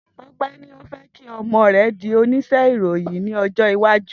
Tope ni o fe ki omo re di onise iroyin ni ojo iwaju.